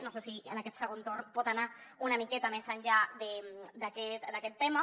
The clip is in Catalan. no sé si en aquest segon torn pot anar una miqueta més enllà d’aquest tema